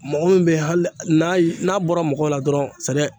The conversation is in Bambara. Mɔgɔ min bɛ yen hali n'a ye n'a bɔra mɔgɔ la dɔrɔn